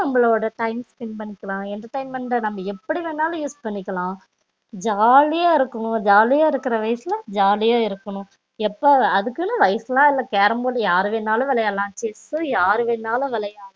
நம்பலோட time spend பண்ணிக்கலாம் entertainment ட நம்ப எப்படி வேணாலும் use பண்ணிக்கலாம் ஜாலியா இருக்கணும் ஜாலியா இருக்குற வயசுல ஜாலியா இருக்கணும் இப்போ அதுக்குனு வயசுலா இல்ல carrom board யாரு வேணாலும் விளையாடலாம் chess யாரு வேணாலும் விளையாடலாம்